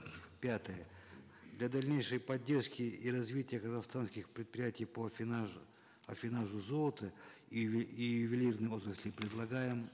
пятое для дальнейшей поддержки и развития казахстанских предприятий по аффинажу золота и ювелирных отрасли предлагаем